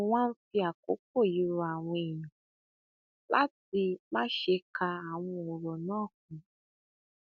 mo wá ń fi àkókò yìí rọ àwọn èèyàn láti má ṣe ka àwọn ọrọ náà kún